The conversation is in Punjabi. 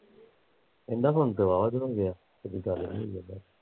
ਕਹਿੰਦਾ ਹੁਣ ਦਵਾ ਦਵਾਉਣ ਗਿਆ ਅਜੇ ਗੱਲ ਨੀ ਹੋਈ ਕਹਿੰਦਾ